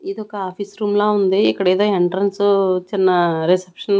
ఇదొక office room లా ఉంది ఇక్కడ ఏదో ఎంట్రన్సు చిన్న రిసెప్షన్ --